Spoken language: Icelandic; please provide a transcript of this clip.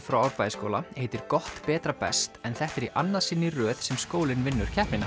frá Árbæjarskóla heitir gott betra best en þetta er í annað sinn í röð sem skólinn vinnur keppnina